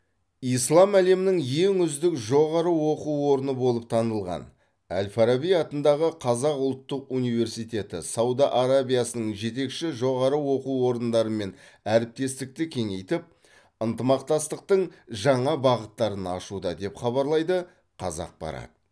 ислам әлемінің ең үздік жоғары оқу орны болып танылған әл фараби атындағы қазақ ұлттық университеті сауд арабиясының жетекші жоғары оқу орындарымен әріптестікті кеңейтіп ынтымақтастықтың жаңа бағыттарын ашуда деп хабарлайды қазақпарат